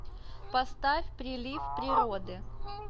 поставь прилив природы